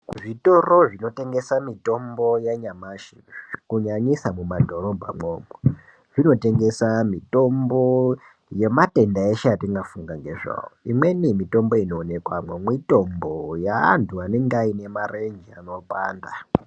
Zvitoro zvinotengesa mitombo yanyamashi kunyanyisa mumadhorobhamwo zvinotengesa mitombo yematenda eshe atingafunga ngezvawo imweni mitombo inoonekwamo mwitombo yeantu anenge ainemarenje anopanda.